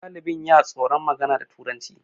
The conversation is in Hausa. dalinbin ya tsoron magana da turanci